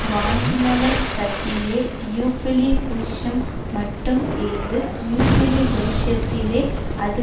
வாங்கினவன் கையிலே யூபிலி வருஷம்மட்டும் இருந்து யூபிலி வருஷத்திலே அது